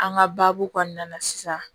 An ka baabu kɔnɔna na sisan